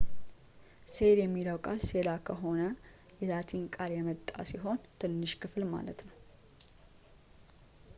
ሴል የሚለው ቃል ሴላ ከሆነው የላቲን ቃል የመጣ ሲሆን ትንሽ ክፍል ማለት ነው